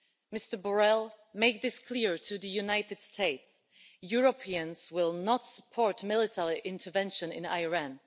Mr Borrell, make this clear to the United States Europeans will not support military intervention in Iran.